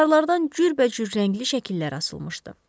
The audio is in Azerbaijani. Divarlardan cürbəcür rəngli şəkillər asılmışdı.